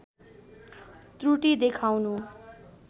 त्रुटि देखाउनु